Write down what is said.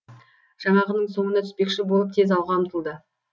жаңағының соңына түспекші болып тез алға ұмтылды